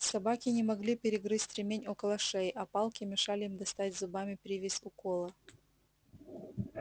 собаки не могли перегрызть ремень около шеи а палки мешали им достать зубами привязь у кола